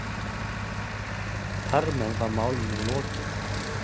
Þar með var málinu lokið.